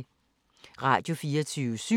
Radio24syv